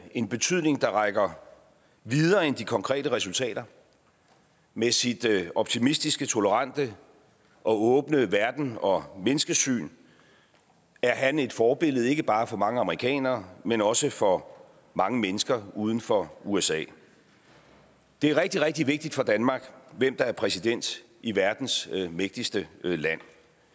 en betydning der rækker videre end de konkrete resultater med sit optimistiske tolerante og åbne verdens og menneskesyn er han et forbillede ikke bare for mange amerikanere men også for mange mennesker uden for usa det er rigtig rigtig vigtigt for danmark hvem der er præsident i verdens mægtigste land